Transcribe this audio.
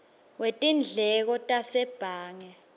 wetindleko tasebhange kanye